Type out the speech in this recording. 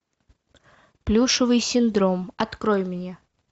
плюшевый синдром открой мне